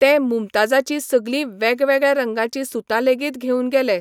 तें मुमताजाची सगलीं वेगवेगळ्या रंगाचीं सुतां लेगीतघेवन गेलें.